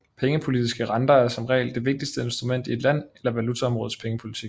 Pengepolitiske renter er som regel det vigtigste instrument i et land eller valutaområdes pengepolitik